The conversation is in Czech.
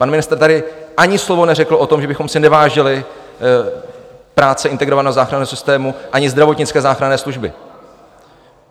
Pan ministr tady ani slovo neřekl o tom, že bychom si nevážili práce integrovaného záchranného systému ani zdravotnické záchranné služby.